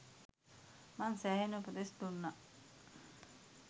මං සෑහෙන්න උපදෙස් දුන්නා